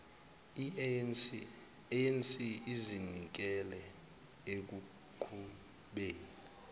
anc izinikele ekuqhubeni